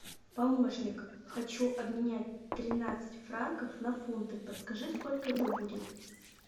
помощник хочу обменять тринадцать франков на фунты подскажи сколько это будет